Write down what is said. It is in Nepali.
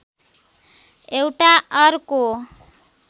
एउटा अर्को